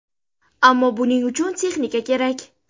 Ammo buning uchun texnika kerak.